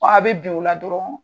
a bɛ bin o la dɔrɔɔn